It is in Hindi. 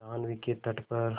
जाह्नवी के तट पर